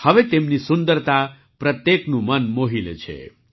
હવે તેમની સુંદરતા પ્રત્યેકનું મન મોહી લે છે